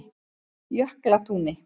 Jöklatúni